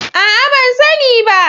A'a! Ban sani ba.